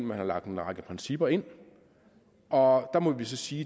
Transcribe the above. man har lagt en række principper ind og der må vi sige